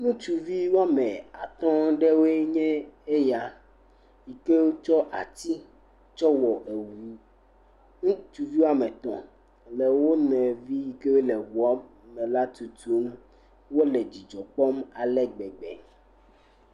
Ŋutsuvi wóa ame atɔ̃ ɖe woe nye eya yi ke wo tsɔ ati tsɔ wɔ eʋu ŋutsuvi woame etɔ̃ le wo nɔvi yi ke wo le eʋua me la tutum wo le dzidzɔ kpɔm ale gbegbe.